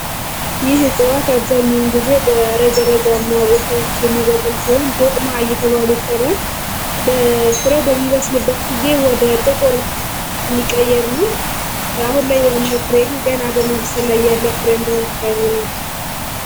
ይህ ሕጽዋት አብዛኛውን ጊዜ በረገ ረጋማ ቦታዎች የሚበቅል ሲሆን ዶቅማ አየተባል ይጠራል። በፍሬው በሚበስልበት ጊዜ ወደ ጥቁር የሚቀየር ነው። አሁን ላይ የምናየው ፍሬ ገና በመብሰል ላይ ያለ ፍሬ ነው